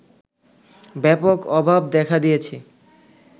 ব্যাপক অভাব দেখা দিয়েছে